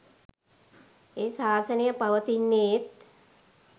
ඒ ශාසනය පවතින්නේත්